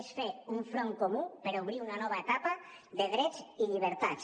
és fer un front comú per obrir una nova etapa de drets i llibertats